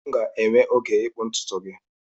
M ga-enwe oge ịkpụ ntutu gị